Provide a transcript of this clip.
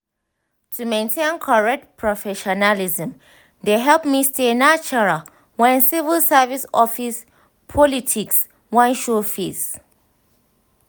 to maintain correct professionalism dey help me stay neutral when civil service office politics wan show face.